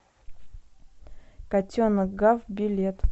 котенок гав билет